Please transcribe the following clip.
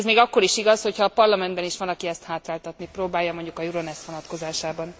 Ez még akkor is igaz, hogyha a Parlamentben is van, aki ezt hátráltatni próbálja, mondjuk a Euronest vonatkozásában.